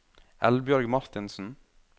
Eldbjørg Martinsen